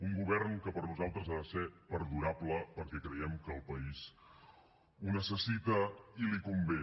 un govern que per nosaltres ha de ser perdurable perquè creiem que el país ho necessita i li convé